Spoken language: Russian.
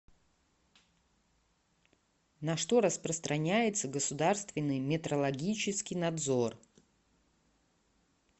на что распространяется государственный метрологический надзор